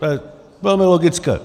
To je velmi logické.